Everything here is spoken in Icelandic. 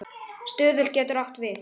Stuðull getur átt við